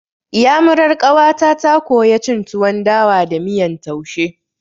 Iyamurar ƙawata ta koya cin tuwon dawa da miyan taushe.